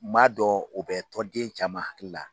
M'a dɔn o bɛ tɔnden caman hakili la.